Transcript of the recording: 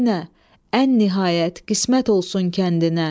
Yenə ən nəhayət qismət olsun kəndinə.